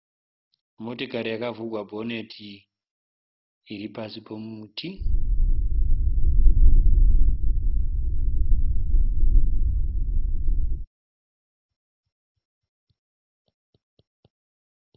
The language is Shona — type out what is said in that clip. Motikari yakavhurwa bhoneti iripasi pomuti.